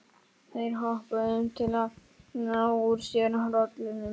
Þeir hoppuðu um til að ná úr sér hrollinum.